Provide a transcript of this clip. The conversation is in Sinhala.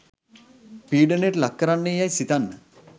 පීඩනයට ලක් කරන්නේ යැයි සිතන්න.